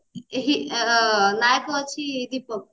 ଏହି ନାୟକ ଅଛି ଦୀପକ